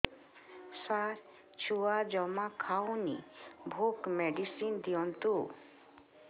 ସାର ଛୁଆ ଜମା ଖାଉନି ଭୋକ ମେଡିସିନ ଦିଅନ୍ତୁ